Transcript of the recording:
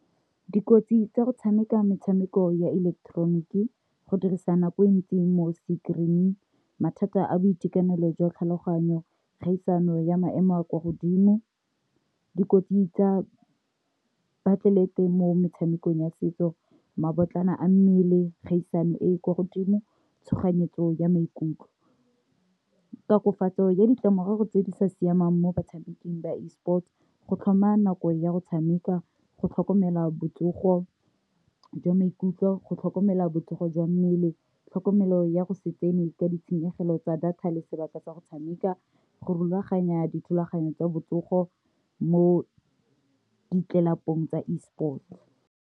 Dikotsi tsa go tshameka metshameko ya ileketeroniki go dirisa nako e ntsi mo screen, mathata a boitekanelo jwa tlhaloganyo, kgaisano ya maemo a kwa godimo, dikotsi tsa baatlelete mo metshamekong ya setso ma botlana a mmele, kgaisano e e kwa godimo tshoganyetso ya maikutlo, tatofatso ya ditlamorago tse di sa siamang mo batshameking ba E-sports, go tlhoma nako ya go tshameka, go tlhokomela botsogo jwa maikutlo go tlhokomela botsogo jwa mmele tlhokomelo ya go se tsene ka ditshenyegelo tsa data le sebaka tsa go tshameka, go rulaganya dithulaganyo tsa botsogo mo ditlelapong tsa E-sport.